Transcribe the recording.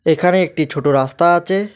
এখানে একটি ছোট রাস্তা আছে।